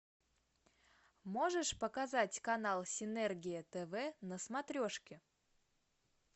можешь показать канал синергия тв на смотрешке